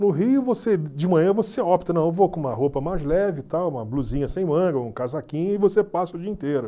No Rio, você, de manhã você opta, vou com uma roupa mais leve e tal, uma blusinha sem manga, ou um casaquinho e você passa o dia inteiro.